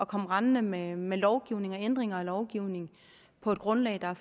komme rendende med med lovgivning og ændringer af lovgivning på et grundlag der